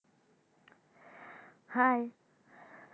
Hi